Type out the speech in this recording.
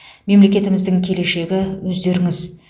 мемлекетіміздің келешегі өздеріңіз